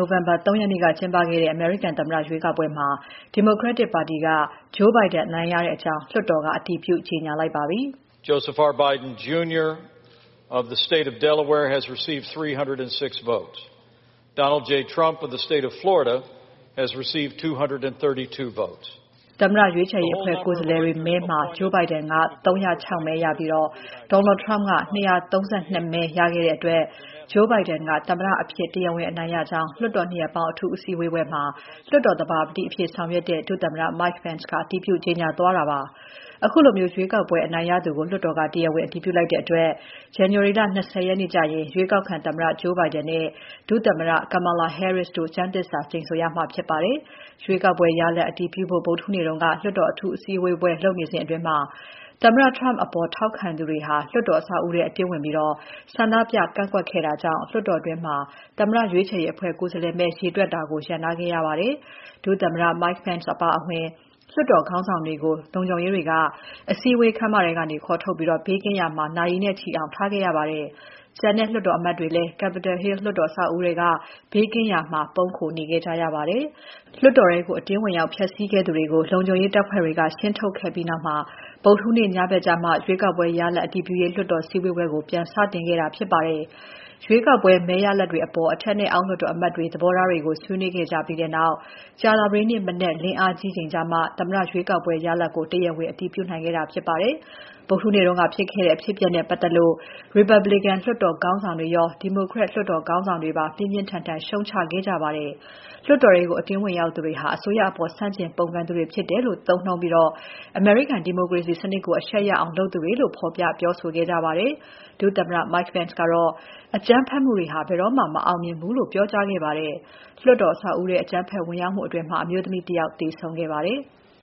ိုဝင်ဘာလ ၃ ရက်နေ့က ကျင်းပခဲ့တဲ့ အမေရိကန်သမ္မတ ရွေးကောက်ပွဲမှာ ဒီမိုကရက်တစ်ပါတီက Joe Biden အနိုင်ရတဲ့အကြောင်း လွှတ်တော်က အတည်ပြု ကြေညာလိုက်ပါပြီ။ သမ္မတရွေးချယ်ရေးအဖွဲ့ ကိုယ်စားလှယ်မဲတွေမှာ Joe Biden က ၃၀၆ မဲရပြီး Donald Trump က ၂၃၂ မဲ ရတဲ့အတွက် Joe Biden က သမ္မတအဖြစ် တရားဝင် အနိုင်ရကြောင်း လွှတ်တော် နှစ်ရပ်ပေါင်းအထူးစည်းဝေးပွဲမှာ လွှတ်တော်သဘာပတိအဖြစ် ဆောင်ရွက်တဲ့ ဒုသမ္မတ Mike Pence က အတည်ပြု ကြေညာခဲ့ပါတယ်။ ခုလို ရွေးကောက်ပွဲအနိုင်ရသူကို လွှတ်တော်က တရားဝင်အတည်ပြုလိုက်တဲ့အတွက် ဇန်နဝါရီလ ၂၀ ရက်နေ့ကျရင် ရွေးကောက်ခံသမ္မတ Joe Biden နဲ့ ဒုသမ္မတ Kamala Harris တို့ ကျမ်းသစ္စာကျိန်ဆိုရမှာဖြစ်ပါတယ်။ ရွေးကောက်ပွဲရလဒ်အတည်ပြုဖို့ ဗုဒ္ဓဟူးနေ့တုန်းက လွှတ်တော်အထူး အစည်းဝေးပွဲ လုပ်နေစဉ် သမ္မတထရမ့်ပ်အပေါ် ထောက်ခံသူတွေ လွှတ်တော်အဆောက်အဦးထဲ အတင်းဝင်ပြီး ဆန္ဒပြကန့်ကွက်တာကြောင့် လွှတ်တော်တွင်း သမ္မတရွေးချယ်ရေးအဖွဲ့ ကိုယ်စားလှယ်မဲ ရေတွက်တာကို ရပ်နားခဲ့ရပါတယ်။ ဒုသမ္မတ Mike Pence အပါအဝင် လွှတ်တော်ခေါင်းဆောင်တွေကို လုံခြုံရေးတွေက အစည်းအဝေးခန်းမထဲကနေ ခေါ်ထုတ်ပြီး ဘေးကင်းရာမှာ နာရီနဲ့ချီအောင် ထားခဲ့ရပါတယ်။ ကျန်တဲ့ လွှတ်တော်အမတ်တွေလည်း Capitol Hill လွှတ်တော်အဆောက်အဦးထဲက ဘေးကင်းရာမှာ ပုန်းခိုနေခဲ့ကြရပါတယ်။ လွှတ်တော်ထဲကို အတင်းဝင်ရောက်ဖျက်စီးခဲ့သူတွေကို လုံခြုံရေးတပ်ဖွဲ့တွေက ရှင်းထုတ်ခဲ့ပြီးနောက် ဗုဒ္ဓဟူးညဘက်မှာ ရွေးကောက်ပွဲ မဲရလဒ် အတည်ပြုရေး လွှတ်တော်စည်းဝေးပွဲကို ပြန်စတင်ခဲ့တာပါ။ ရွေးကောက်ပွဲ မဲရလဒ်တွေအပေါ် အထက်နဲ့အောက် လွှတ်တော်အမတ်တွေရဲ့ သဘောထားတွေကို ဆွေးနွေးခဲ့ကြပြီးနောက် ကြာသပတေးနေ့မနက်လင်းအားကြီးချိန်ကျမှ သမ္မတရွေးကောက်ပွဲ ရလဒ်ကို တရားဝင် အတည်ပြုနိုင်ခဲ့တာဖြစ်ပါတယ်။ ဗုဒ္ဓဟူးနေ့က ဖြစ်ခဲ့တဲ့အဖြစ်အပျက်နဲ့ပတ်သက်လို့ ရီပတ်ဘလီကန် လွှတ်တော်ခေါင်းဆောင်တွေရော ဒီမိုကရက် လွှတ်တော်ခေါင်းဆောင်တွေပါ ပြင်းပြင်းထန်ထန် ရှုံ့ချခဲ့ကြပါတယ်။ လွှတ်တော်ထဲကို အတင်းဝင်ရောက်သူတွေဟာ အစိုးရအပေါ် ဆန့်ကျင် ပုန်ကန်သူတွေဖြစ်တယ်လို့ သုံးနှုန်းပြီး အမေရိကန် ဒီမိုကရေစီစနစ်ကို အရှက်ရအောင် လုပ်သူတွေလို့ ဖော်ပြပြောဆိုခဲ့ကြပါတယ်။ ဒုသမ္မတ Mike Pence ကလည်း အကြမ်းဖက်မှုတွေဟာ ဘယ်တော့မှ မအောင်မြင်ဘူးလို့ ပြောကြားခဲ့ပါတယ်။ လွှတ်တော်အဆောက်အဦးထဲမှာ ပစ်ခတ်မှုကြောင့် အမျိုးသမီး တစ် ယောက်သေဆုံးခဲ့ပါတယ်။